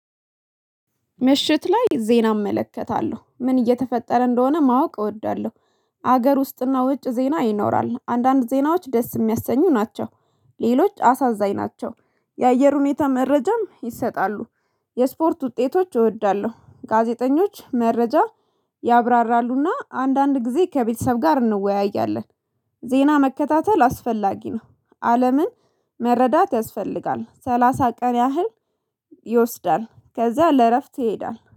ምሽት ላይ ዜና እመለከታለሁ ምን እየተፈጠረ እንደሆነ ማወቅ እወዳለሁ። ሀገር ውስጥና ውጭ ዜና ይኖራል አንዳንድ ዜናዎች ደስ የሚያሰኙ ናቸው። ሌሎች አሳዛኝ ናቸው። የአየር ሁኔታ መረጃም ይሰጣሉ። የስፖርት ውጤቶች እወዳለሁ ጋዜጠኞች መረጃ። ያብራራሉና አንዳንድ ጊዜ ከቤተሰብ ጋር እንወያያለን። ዜና መከታተል አስፈላጊ ነው። አለምን መረዳት ያስፈልጋል ሰላሳ ቀን ያህል። ይወስዳል ከዛ ለእረፍት ይሄዳል